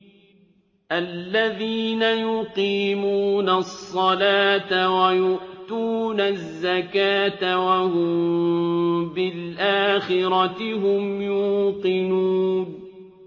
الَّذِينَ يُقِيمُونَ الصَّلَاةَ وَيُؤْتُونَ الزَّكَاةَ وَهُم بِالْآخِرَةِ هُمْ يُوقِنُونَ